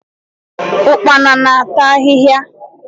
Ụkpana na-ata ahịhịa.